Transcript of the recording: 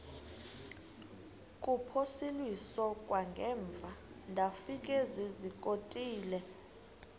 kuphosiliso kwangaemva ndafikezizikotile